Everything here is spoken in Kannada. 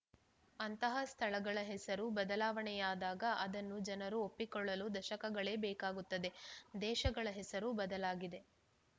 ಅಂತಹ ಸ್ಥಳಗಳ ಹೆಸರು ಬದಲಾವಣೆಯಾದಾಗ ಅದನ್ನು ಜನರು ಒಪ್ಪಿಕೊಳ್ಳಲು ದಶಕಗಳೇ ಬೇಕಾಗುತ್ತದೆ ದೇಶಗಳ ಹೆಸರೂ ಬದಲಾಗಿದೆ